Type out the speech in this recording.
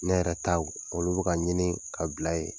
Ne yɛrɛ taw olu bɛ ka ɲini ka bila yen